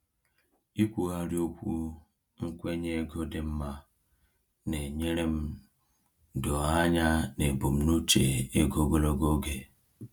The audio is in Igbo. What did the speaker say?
Ikwugharị okwu nkwenye ego dị mma na-enyere m doo anya n’ebumnuche ego ogologo oge.